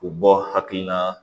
U bɔ hakilina